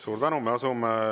Suur tänu!